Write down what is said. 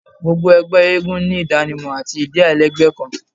Gbogbo ẹgbẹ eégún ni idanimọ ati idi alailẹgbẹ kan